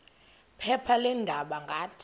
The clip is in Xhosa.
phepha leendaba ngathi